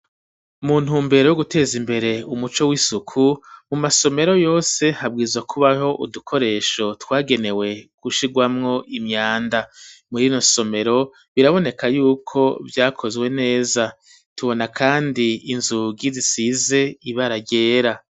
Mu ntumbero yo guteza imbere umuco w'isuku mu masomero yose, habwirizwa kubaho udukoresho twagenewe gushigwamwo imyanda. Muri rino somero biraboneka yuko vyakozwe neza. Tubona kandi inzugi zisize ibara ryera.